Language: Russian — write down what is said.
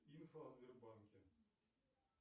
инфо о сбербанке